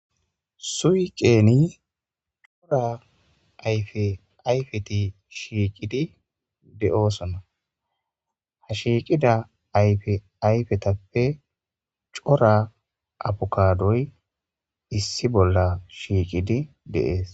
Suyiqeeni cora ayfe ayfeti shiiqidi de'osona ha shiiqida ayfe ayfetappe cora abukadoy issi bolla shiiqidi dees.